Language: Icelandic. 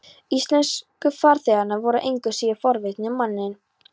Íslensku farþegarnir voru engu síður forvitnir um manninn.